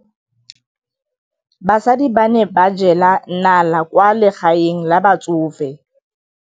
Basadi ba ne ba jela nala kwaa legaeng la batsofe.